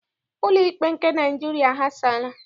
Ụlọikpe nke Naịjiria aghasaala.